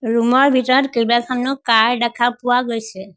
Room ৰ ভিতৰত কেবাখনো কাৰ দেখা পোৱা গৈছে।